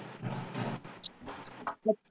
अच्छा.